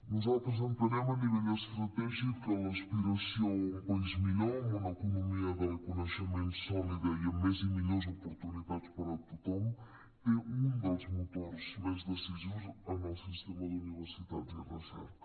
nosaltres entenem a nivell estratègic que l’aspiració a un país millor amb una economia del coneixement sòlida i amb més i millors oportunitats per a tothom té un dels motors més decisius en el sistema d’universitats i recerca